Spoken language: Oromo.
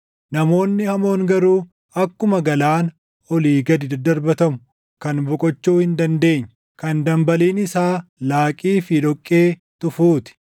Namoonni hamoon garuu akkuma galaana olii gadi daddarbatamu, kan boqochuu hin dandeenye, kan dambaliin isaa laaqii fi dhoqqee tufuu ti.